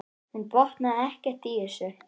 Hún botnaði ekkert í þessu.